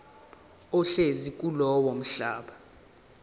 ohlezi kulowo mhlaba